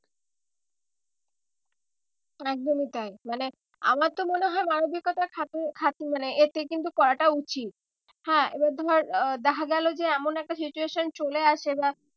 একদমই তাই মানে আমার তো মনে হয় মানবিকতার মানে এতে কিন্তু করাটা উচিত হ্যাঁ এবার ধর আহ দেখা গেলো যে এমন একটা situation চলে আসে বা